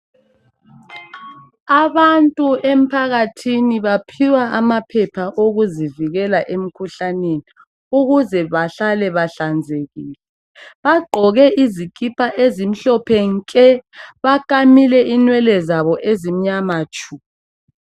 Abantu emphakathini banikwa amaphepha okuzivikela emkhuhlaneni ukuze bahlale bahlanzekile . Bagqoke izikipa ezimhlophe nke . Balamile inwele zabo ezimnyama tshu.